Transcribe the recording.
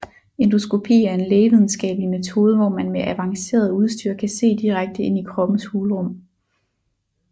Endoskopi er en lægevidenskabelig metode hvor man med avanceret udstyr kan se direkte ind i kroppens hulrum